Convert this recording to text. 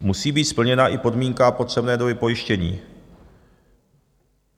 Musí být splněna i podmínka potřebné doby pojištění.